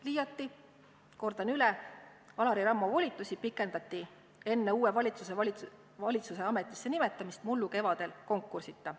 Liiati, kordan üle, Alari Rammo volitusi pikendati enne uue valitsuse ametisse nimetamist mullu kevadel konkursita.